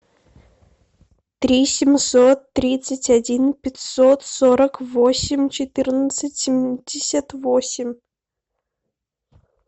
три семьсот тридцать один пятьсот сорок восемь четырнадцать семьдесят восемь